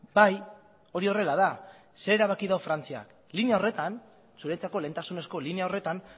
bai hori horrela da zer erabaki du frantziak linea horretan zuretzako lehentasunezko linea horretan